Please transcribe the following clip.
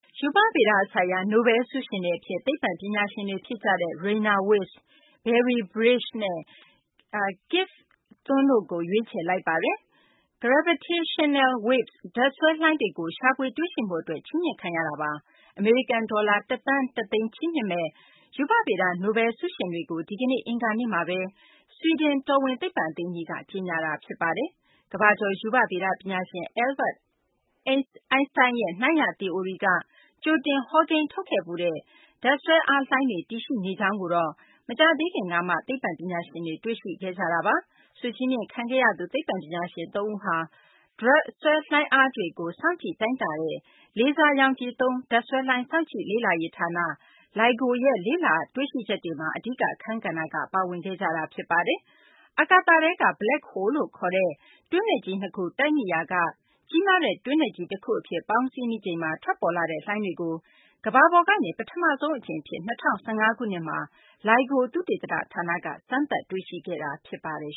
ရူပဗေဒဆိုင်ရာ နိုဘဲလ်ဆုရှင်တွေအဖြစ် သိပ္ပံပညာရှင်တွေ ဖြစ်ကြတဲ့ Rainer Weiss၊ Barry Barish နဲ့ Kip Thorne တို့ကို ရွေးချယ်လိုက်ပါတယ်။ Gravitational Waves ဒြပ်ဆွဲလှိုင်းတွေကို ရှာဖွေတွေ့ရှိမှုအတွက် ချီးမြှင့်လိုက်တာပါ။ အမေရိကန်ဒေါ်လာ ၁ သန်း ၁ သိန်း ချီးမြှင့်မယ့် ရူပဗေဒ နိုဘဲလ်ဆုရှင်တွေကိုတော့ ဒီကနေ့ အင်္ဂါနေ့မှာပဲ ဆွီဒင်တော်ဝင် သိပ္ပံအသင်းကြီးက ကြေညာခဲ့တာ ဖြစ်ပါတယ်။ ကမ္ဘာကျော် ရူပဗေဒပညာရှင် Albert Einstein ရဲ့ နှိုင်းရ သီအိုရီက ကြိုတင်ဟောကိန်းထုတ်ခဲ့ဖူးတဲ့ ဒြပ်ဆွဲအားလှိုင်းတွေ တည်ရှိနေကြောင်းကိုတော့ မကြာသေးခင်ကမှ သိပ္ပံပညာရှင်တွေ တွေ့ရှိခဲ့ကြတာပါ။ ဆုချီးမြှင့်ခံခဲ့ရသူ သိပ္ပံပညာရှင် ၃ ဦးဟာ ဆွဲငင်းအားလှိုင်းတွေကို စောင့်ကြည့်တိုင်းတာခဲ့တဲ့ လေဆာရောင်ခြည်သုံး ဒြပ်ဆွဲလှိုင်း စောင့်ကြည့်လေ့လာရေးဌာန ( LIGO ) ရဲ့ လေ့လာတွေ့ရှိချက်တွေမှာ အဓိကအခန်းကဏ္ဍက ပါဝင်ခဲ့ကြတာပါ။ အာကာသထဲက Black Holes လို့ခေါ်တဲ့ တွင်းနက်ကြီး ၂ ခု တိုက်မိရာက ကြီးမားတဲ့ တွင်းနက်ကြီးတခုအဖြစ် ပေါင်းစည်းမိချိန်မှာ ထွက်ပေါ်လာတဲ့ လှိုင်းတွေကို ကမ္ဘာပေါ်ကနေ ပထမဆုံးအကြိမ်အဖြစ် ၂၀၁၅ ခုနှစ်မှာ LIGO သုတေသနဌာနက စမ်းသပ် တွေ့ရှိခဲ့တာ ဖြစ်ပါတယ်